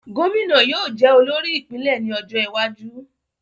Gómìnà yóò jẹ olórí ìpínlè ní ọjó iwájú